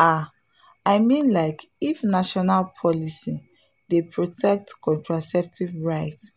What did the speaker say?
ah i mean like if national policy dey protect contraceptive rights